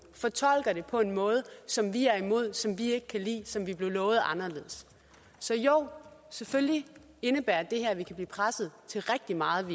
fortolker det på en måde som vi er imod som vi ikke kan lide og som vi blev lovet anderledes så jo selvfølgelig indebærer det her at vi kan blive presset til rigtig meget